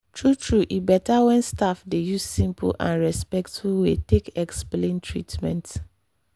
true-true e better when staff dey use simple and respectful way take explain treatment.